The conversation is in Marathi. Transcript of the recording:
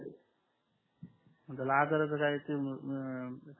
काय ते